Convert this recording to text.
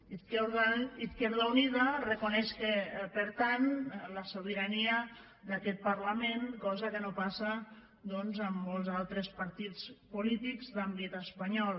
izquierda unida reconeix per tant la sobirania d’aquest parlament cosa que no passa doncs en molts altres partits polítics d’àmbit espanyol